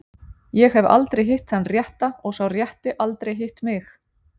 Ég hef aldrei hitt þann rétta og sá rétti aldrei hitt mig.